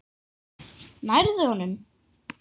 Nærðu honum?